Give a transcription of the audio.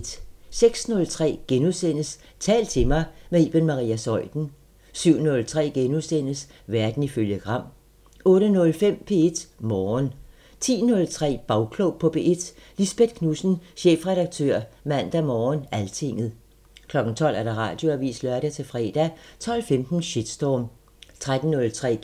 06:03: Tal til mig – med Iben Maria Zeuthen * 07:03: Verden ifølge Gram * 08:05: P1 Morgen 10:03: Bagklog på P1: Lisbeth Knudsen, chefredaktør Mandag Morgen/Altinget 12:00: Radioavisen (lør-fre) 12:15: Shitstorm 13:03: